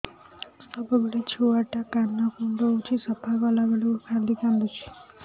ସବୁବେଳେ ଛୁଆ ଟା କାନ କୁଣ୍ଡଉଚି ସଫା କଲା ବେଳକୁ ଖାଲି କାନ୍ଦୁଚି